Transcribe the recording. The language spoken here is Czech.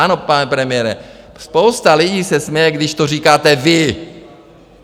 Ano, pane premiére, spousta lidí se směje, když to říkáte vy!